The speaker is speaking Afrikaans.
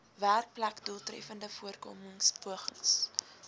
werkplek doeltreffende voorkomingspogings